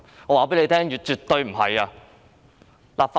我告訴你：絕對不是。